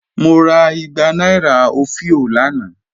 Mo rà ìgbà nàìrà ofìó lánà.